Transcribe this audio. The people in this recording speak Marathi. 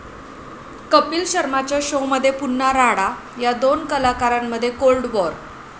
कपिल शर्माच्या शोमध्ये पुन्हा राडा, 'या' दोन कलाकारांमध्ये कोल्ड वॉर?